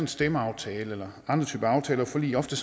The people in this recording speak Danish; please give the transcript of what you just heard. stemmeaftale eller andre typer af aftaler og forlig ofte